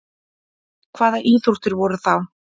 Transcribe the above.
Hvaða íþróttir voru þá?